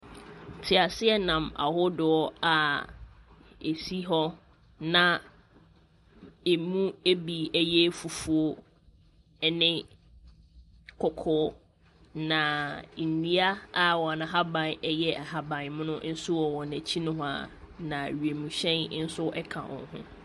Teaseɛnam ahodoɔ a ɛsi hɔ na ɛmu bi yɛ fufuo ne kɔkɔɔ, na nnua a wɔn ahaban yɛ ahaban mono nso wɔ wɔn akyi nohoa, na wiemhyɛn nso ka wɔn ho.